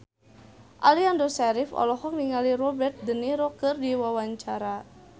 Aliando Syarif olohok ningali Robert de Niro keur diwawancara